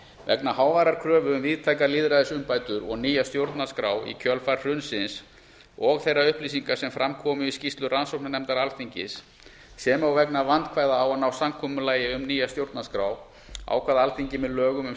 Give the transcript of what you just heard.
vegna háværrar kröfu um víðtækar lýðræðisumbætur og nýja stjórnarskrá í kjölfar hrunsins og þeirra upplýsinga sem fram komu í skýrslu rannsóknarnefndar alþingis sem og vegna vandkvæða á að ná samkomulagi um nýja stjórnarskrá ákvað alþingi með lögum um